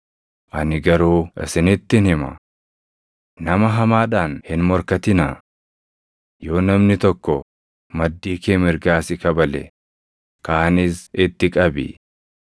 Ani garuu isinittin hima. Nama hamaadhaan hin morkatinaa. Yoo namni tokko maddii kee mirgaa si kabale, kaanis itti qabi.